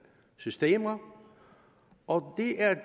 systemer og det er